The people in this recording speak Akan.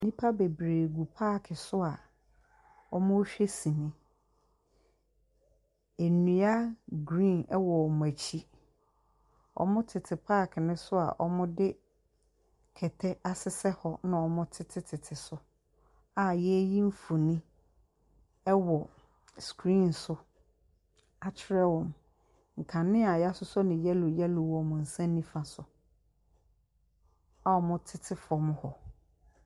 Nipa bebree gu pak so a ɔmuhwɛ sini. Ndua grin ɛwɔ amuɛkyi. Ɔmu tete pak no so a de kɛtɛ asesɛm hɔ nna ɔtetetete so a yeeyi mfoni ɛwɔ skrin so akyerɛ wɔn. Nkanea yahyihyɛ no yɛlo yɛlo wɔ ɔmo nsa nifa soɔ a ɔmu titi fɔm ha.